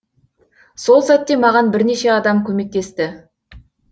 сол сәтте маған бірнеше адам көмектесті